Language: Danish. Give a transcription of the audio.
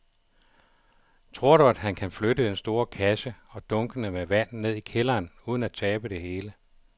Tror du, at han kan flytte den store kasse og dunkene med vand ned i kælderen uden at tabe det hele?